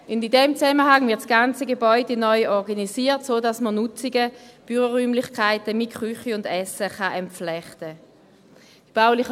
In diesem Zusammenhang wird das ganze Gebäude neu organisiert, sodass man die Nutzungen – Büroräumlichkeiten sowie Küche und Essen – entflechten kann.